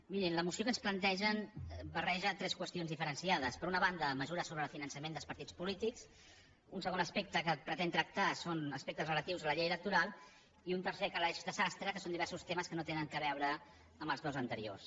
mirin la moció que ens plantegen barreja tres qüestions diferenciades per una banda mesures sobre el finançament dels partits polítics un segon aspecte de què pretén tractar són aspectes relatius a la llei electoral i un tercer calaix de sastre que són diversos temes que no tenen a veure amb els dos anteriors